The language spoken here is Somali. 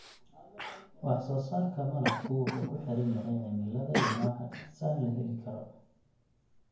Wax soo saarka malabku wuxuu ku xiran yahay cimilada iyo nooca dhirta la heli karo.